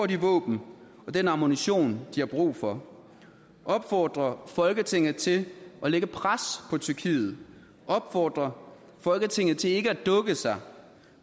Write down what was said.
de våben og den ammunition de har brug for opfordre folketinget til at lægge pres på tyrkiet opfordre folketinget til ikke at dukke sig